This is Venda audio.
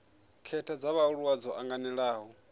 khetha dza vhaaluwa dzo anganelaho